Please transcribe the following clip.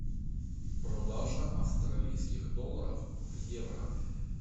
продажа австралийских долларов в евро